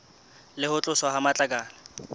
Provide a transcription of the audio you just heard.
le ho tloswa ha matlakala